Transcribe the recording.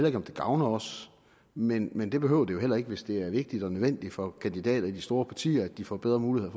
ikke om det gavner os men men det behøver det jo heller ikke hvis det er vigtigt og nødvendigt for kandidater i de store partier at de får bedre muligheder